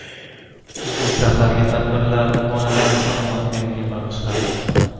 Bu safargi tadbirlar bolalar salomatligiga bag‘ishlandi.